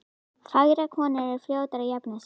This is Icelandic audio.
Fagrar konur eru fljótari að jafna sig.